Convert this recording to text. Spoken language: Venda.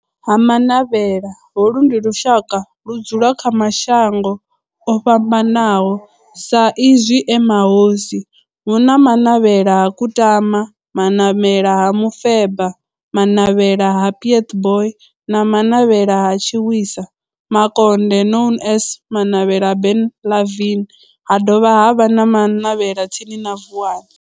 Ha Manavhela, holu ndi lushaka ludzula kha mashango ofhambanaho sa izwi e mahosi, hu na Manavhela ha Kutama, Manavhela ha Mufeba, Manavhela ha Pietboi na Manavhela ha Tshiwisa Mukonde known as Manavhela Benlavin, ha dovha havha na Manavhela tsini na Vuwani.